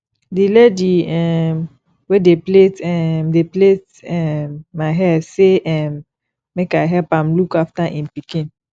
the lady um wey dey plait um dey plait um my hair say um make i help am look after im pikin